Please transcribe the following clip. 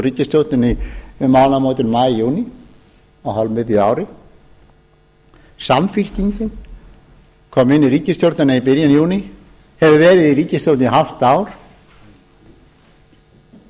ríkisstjórninni um mánaðamótin maí júní á hálfmiðju ári samfylkingin kom inn í ríkisstjórnina í byrjun júní hefur verið í